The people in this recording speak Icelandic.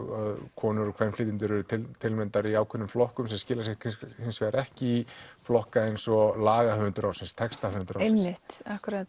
konur og kvenflytjendur eru tilnefndar í ákveðnum flokkum sem skilar sér ekki í flokka eins og lagahöfundur ársins textahöfundur einmitt